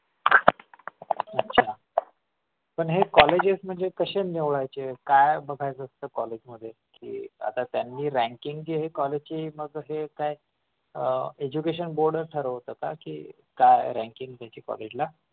पण पण हे कॉलेजेस म्हणजे कसे निवडायचे काय बघायचं असतं कॉलेजमध्ये की आता त्यांनी ranking चे कॉलेज हे education board ठरवत का की काय ranking द्यायची कॉलेजला